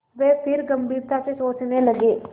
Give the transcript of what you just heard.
वे फिर गम्भीरता से सोचने लगे